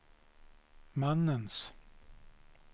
mannens